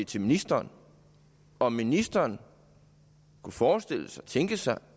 til ministeren om ministeren kunne forestille sig tænke sig